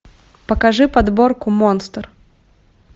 покажи подборку монстр